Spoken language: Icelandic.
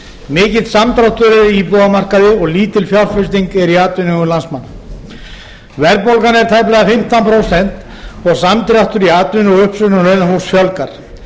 samdráttur er á íbúðamarkaði og lítil fjárfesting er í atvinnuvegum landsmanna verðbólgan er tæplega fimmtán prósent og samdráttur í atvinnu og uppsögnum launafólks fjölgar